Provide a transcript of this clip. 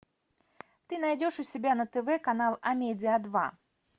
ты найдешь у себя на тв канал амедиа два